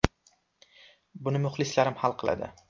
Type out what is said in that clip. Buni muxlislarim hal qiladi.